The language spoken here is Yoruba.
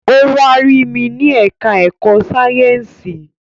Ó wá rí mi ní ẹ̀ká ẹ̀kọ́ Sáyẹ̀nsì